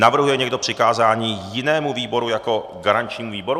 Navrhuje někdo přikázání jinému výboru jako garančnímu výboru?